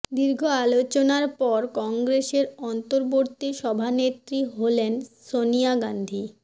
দীর্ঘ আলোচনার পর কংগ্রেসের অন্তর্বর্তী সভানেত্রী হলেন সনিয়া গান্ধী